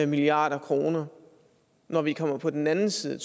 milliard kr når vi kommer på den anden side af